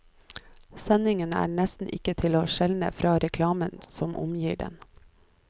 Sendingen er nesten ikke til å skjelne fra reklamen som omgir den.